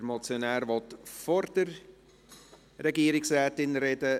Der Motionär möchte vor der Regierungsrätin sprechen.